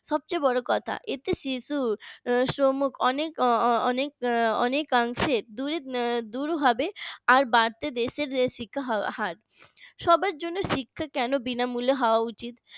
সবচেয়ে বড় কথা এতে শিশুশ্রম অনেক অনেক অংশে দূর দূর হবে আর বাড়বে দেশের শিক্ষার হার সবার জন্য শিক্ষা কেন বিনামূল্যে হওয়া উচিত